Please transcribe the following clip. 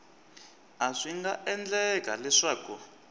a swi nga endleka leswaku